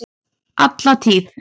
Alla tíð!